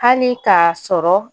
Hali k'a sɔrɔ